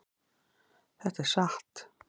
Þetta er satt.